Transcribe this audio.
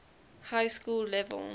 high school level